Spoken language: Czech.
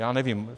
Já nevím.